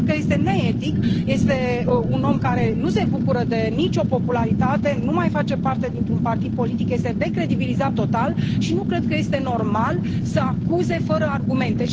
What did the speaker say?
Și cred că este neetic, este un om care nu se bucură de nicio popularitate, nu mai face parte dintr un partid politic, este decredibilizat total și nu cred că este normal să acuze fără argumente.